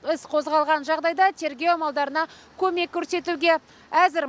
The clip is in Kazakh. іс қозғалған жағдайда тергеу амалдарына көмек көрсетуге әзір